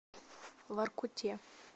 воркуте